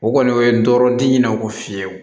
O kɔni o ye dɔrɔdi ne ko fiyewu